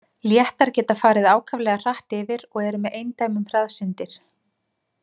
Léttar geta farið ákaflega hratt yfir og eru með eindæmum hraðsyndir.